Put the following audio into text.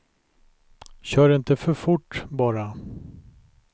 Kör inte för fort, bara.